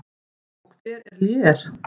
Og hver er Lér?